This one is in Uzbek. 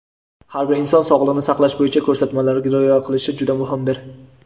har bir inson sog‘liqni saqlash bo‘yicha ko‘rsatmalarga rioya qilishi juda muhimdir.